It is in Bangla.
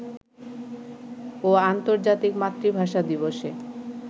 ও আর্ন্তর্জাতিক মাতৃভাষা দিবসে